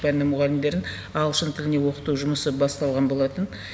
пәнінің мұғалімдерін ағылшын тіліне оқыту жұмысы басталған болатын